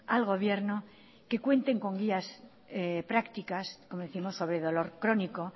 al gobierno que cuenten con guías practicas como décimos sobre dolor crónico